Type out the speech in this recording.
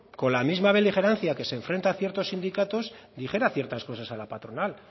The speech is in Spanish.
con la misma beligerancia que se enfrenta a ciertos sindicatos dijera ciertas cosas a la patronal